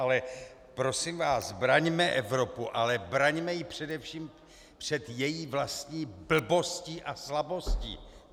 Ale prosím vás, braňme Evropu, ale braňme ji především před její vlastní blbostí a slabostí!